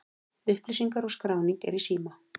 Upplýsingar og skráning er í síma.